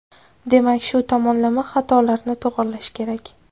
Demak, shu tomonlama xatolarni to‘g‘rilash kerak.